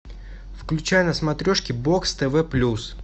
включай на смотрешке бокс тв плюс